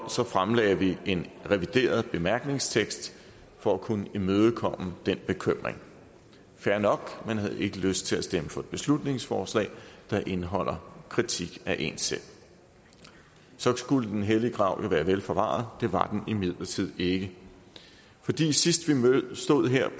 fremlagde vi en revideret bemærkningstekst for at kunne imødekomme den bekymring fair nok man havde ikke lyst til at stemme for et beslutningsforslag der indeholdt kritik af en selv så skulle den hellige grav jo være vel forvaret det var den imidlertid ikke fordi sidst vi stod her